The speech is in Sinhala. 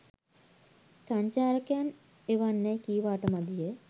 සංචාරකයන් එවන්නැයි කීවාට මදිය.